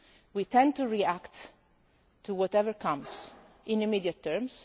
term strategies. We tend to react to whatever comes in